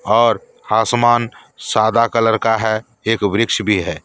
और आसमान सादा कलर का है एक वृक्ष भी है।